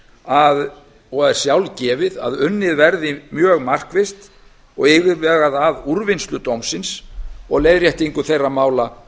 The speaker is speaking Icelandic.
að og er sjálfgefið að unnið verði mjög markvisst og yfirvegað að úrvinnslu dómsins og leiðréttingu þeirra mála